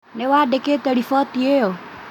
Nĩwandĩkĩte riboti ĩyo?